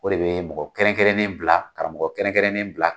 O de bɛ mɔgɔ kɛrɛnkɛrɛnnen bila karamɔgɔ kɛrɛnkɛrɛnnen bila